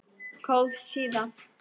Góð síða